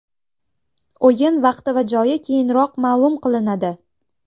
O‘yin vaqti va joyi keyinroq ma’lum qilinadi.